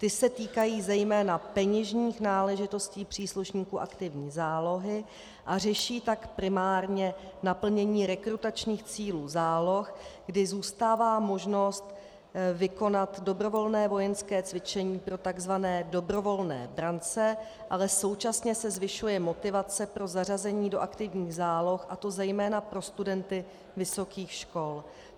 Ty se týkají zejména peněžních náležitostí příslušníků aktivní zálohy a řeší tak primárně naplnění rekrutačních cílů záloh, kdy zůstává možnost vykonat dobrovolné vojenské cvičení pro takzvané dobrovolné brance, ale současně se zvyšuje motivace pro zařazení do aktivních záloh, a to zejména pro studenty vysokých škol.